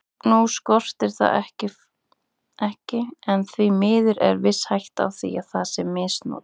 Nú skortir það ekki en því miður er viss hætta á að það sé misnotað.